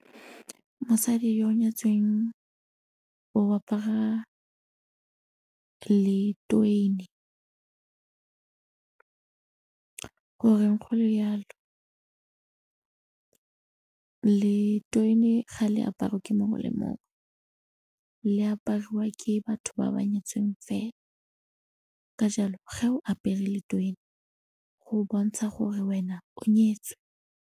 Mosadi yo o nyetsweng o apara goreng go le jalo letwene ga le aparwe ke mongwe le mongwe, le apariwa ke batho ba ba nyetseng fela, ka jalo ge o apere letwene go bontsha gore wena o nyetswe.